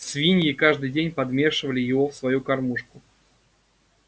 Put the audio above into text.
свиньи каждый день подмешивали его в свою кормушку